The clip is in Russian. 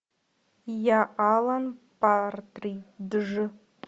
я алан партридж